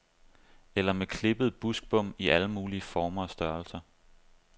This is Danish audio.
Eller med klippede buksbom i alle mulige former og størrelser.